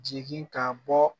Jigin ka bɔ